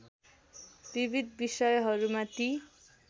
विविध विषयहरूमा ती